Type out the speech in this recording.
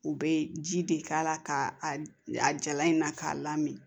U bɛ ji de k'a la ka a jala in na k'a lamini